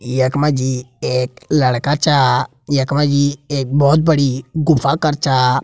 यक मजी एक लड़का छा। यक मजी एक बोहोत बड़ी गुफ़ा कर छा।